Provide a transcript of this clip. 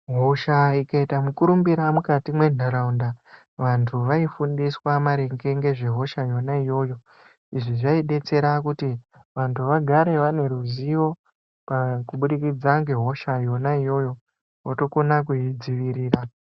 Hosha ikaita mu kurumbira mukati mwe ndaraunda vantu vai fundiswa maringe ngezve hosha yona iyoyo izvi zvai detsera kuti vantu vagare vane ruzivo pa kubudikidza nge hosha yona iyoyo wotokona kui dzivirira.